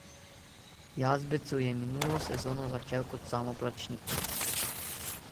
Jazbecu je minulo sezono začel kot samoplačnik.